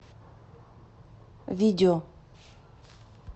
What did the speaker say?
видео